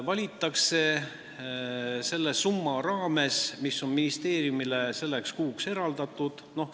Valik tehakse selle summa raames, mis on ministeeriumile selleks kuuks eraldatud.